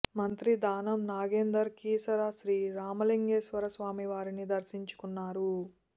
మంత్రి దానం నాగేందర్ కీసర శ్రీ రామలింగేశ్వర స్వామి వారిని దర్శించుకున్నారు